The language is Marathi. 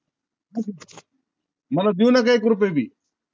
मला देऊ नका एक रुपया बी